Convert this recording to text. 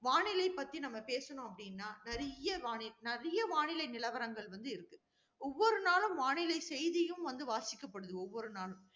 வானிலை பற்றி நம்ம பேசணும் அப்படின்னா, நிறைய வானி~ நிறைய வானிலை நிலவரங்கள் வந்து இருக்கு. ஒவ்வொரு நாளும் வானிலை செய்தியும் வந்து வாசிக்கப்படுது, ஒவ்வொரு நாளும்.